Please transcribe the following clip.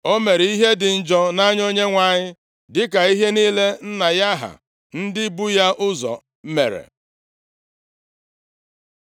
O mere ihe dị njọ nʼanya Onyenwe anyị, dịka ihe niile nna ya ha ndị bu ya ụzọ mere.